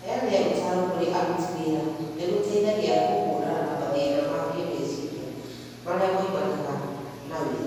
Kũheana ũtaaro kũrĩ aruti wĩra nĩ gũteithagia kũhũrana na mathĩna ma kĩĩmeciria marĩa moimanaga na wĩra.